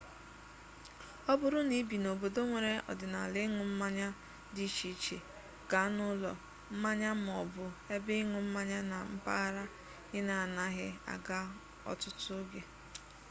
ọ bụrụ na i bi n’obodo nwere ọdịnala ịn̄ụ mmanya dị iche iche gaa n'ụlọ mmanya ma ọ bụ ebe ịn̄ụ mmanya na mpaghara ị na-anaghị aga ọtụtụ oge